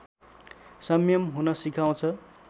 संयम हुन सिकाउँछ